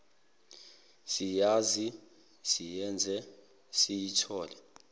siyazi siyenze siyithole